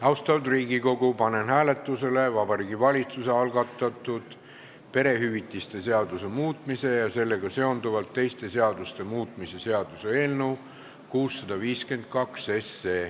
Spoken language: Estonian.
Austatud Riigikogu, panen hääletusele Vabariigi Valitsuse algatatud perehüvitiste seaduse muutmise ja sellega seonduvalt teiste seaduste muutmise seaduse eelnõu 652.